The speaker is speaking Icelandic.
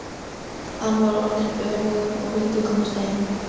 Hann var orðinn önugur og vildi komast heim.